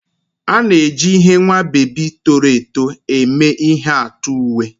A na-eji ihe nwa bebi toro eto eme ihe atụ uwe.